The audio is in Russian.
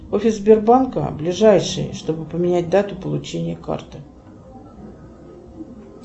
офис сбербанка ближайший чтобы поменять дату получения карты